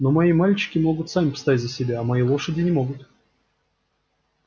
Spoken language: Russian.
но мои мальчики могут сами постоять за себя а мои лошади не могут